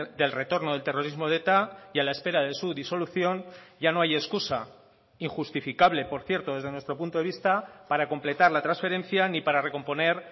del retorno del terrorismo de eta y a la espera de su disolución ya no hay excusa injustificable por cierto desde nuestro punto de vista para completar la transferencia ni para recomponer